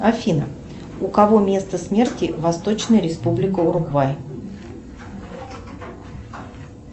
афина у кого место смерти восточная республика уругвай